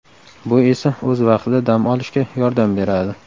Bu esa o‘z vaqtida dam olishga yordam beradi.